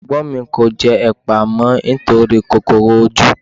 Ẹ̀gbọ́n mi kò jẹ ẹpa mọ́ nítorí kòkòrò ojú.